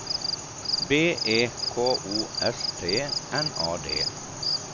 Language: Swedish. B E K O S T N A D